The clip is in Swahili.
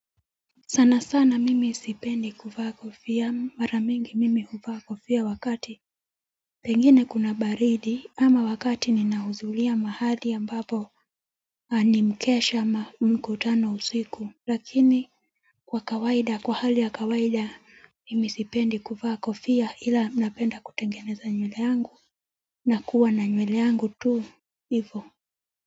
Sana sana mimi sipendi kuvaa kofia mara mingi mimi huvaa kofia wakati pengine kuna baridi ama wakati ninahudhuria mahali ambapo ama ni mkesha ama mkutano usiku. Lakini kwa kawaida kwa hali ya kawaida mimi sipendi kuvaa kofia ila napenda kutengeneza nywele yangu na kuwa na nywele yangu tu hivyo.